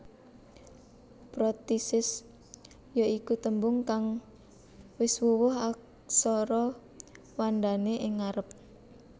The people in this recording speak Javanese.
Prothesis ya iku tembung kang wis wuwuh aksara wandané ing ngarep